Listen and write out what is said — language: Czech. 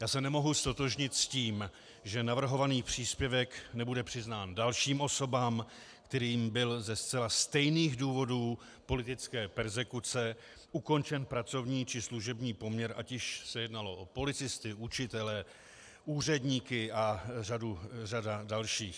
Já se nemohu ztotožnit s tím, že navrhovaný příspěvek nebude přiznán dalším osobám, kterým byl ze zcela stejných důvodů politické perzekuce ukončen pracovní či služební poměr, ať již se jednalo o policisty, učitele, úředníky a řadu dalších.